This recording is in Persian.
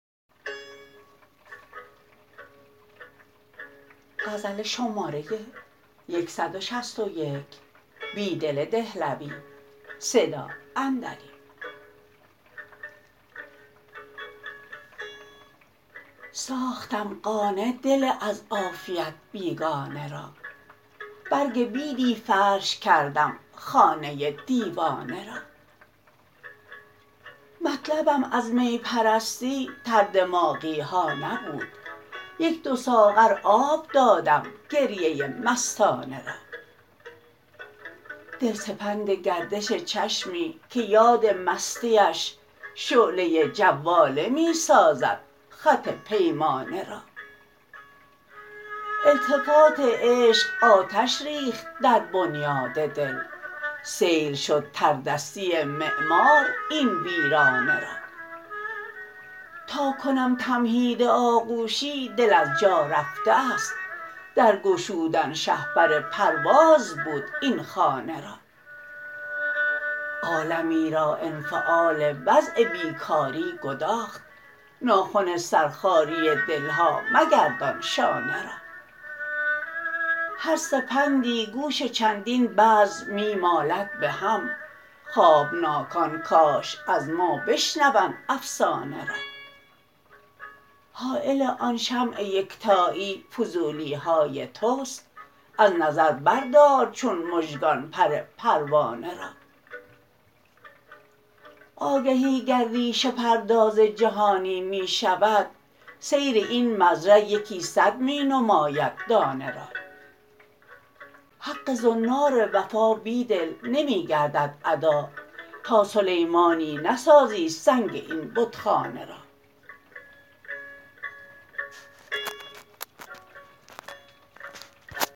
ساختم قانع دل از عافیت بیگانه را برگ بیدی فرش کردم خانه دیوانه را مطلبم از می پرستی تردماغی ها نبود یک دو ساغر آب دادم گریه مستانه را دل سپند گردش چشمی که یاد مستی اش شعله جواله می سازد خط پیمانه را التفات عشق آتش ریخت در بنیاد دل سیل شد تردستی معمار این ویرانه را تا کنم تمهید آغوشی دل از جا رفته است در گشودن شهپر پرواز بود این خانه را عالمی را انفعال وضع بیکاری گداخت ناخن سرخاری دل ها مگردان شانه را هر سپندی گوش چندین بزم می مالد به هم خوابناکان کاش از ما بشنوند افسانه را حایل آن شمع یکتایی فضولی های توست از نظر بردار چون مژگان پر پروانه را آگهی گر ریشه پرداز جهانی می شود سیر این مزرع یکی صد می نماید دانه را حق زنار وفا بیدل نمی گردد ادا تا سلیمانی نسازی سنگ این بتخانه را